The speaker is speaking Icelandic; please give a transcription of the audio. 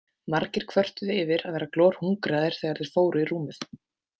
Margir kvörtuðu yfir að vera glorhungraðir þegar þeir fóru í rúmið.